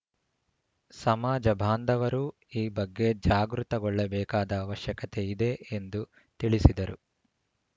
ಸಮಾಜ ಬಾಂಧವರೂ ಈ ಬಗ್ಗೆ ಜಾಗೃತಗೊಳ್ಳಬೇಕಾದ ಅವಶ್ಯಕತೆ ಇದೆ ಎಂದು ತಿಳಿಸಿದರು